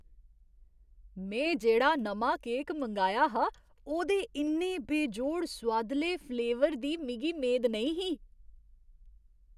में जेह्ड़ा नमां केक मंगाया हा, ओह्दे इन्ने बेजोड़ सोआदले फ्लेवर दी मिगी मेद नेईं ही।